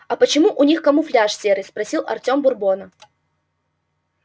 а почему у них камуфляж серый спросил артём бурбона